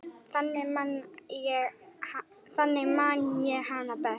Þannig man ég hana best.